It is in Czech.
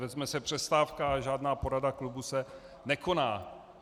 Vezme se přestávka a žádná porada klubu se nekoná.